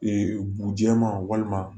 bu jɛman walima